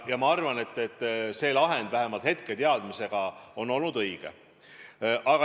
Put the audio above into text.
Ja ma arvan, et see lahend vähemalt hetketeadmise kohaselt on olnud õige.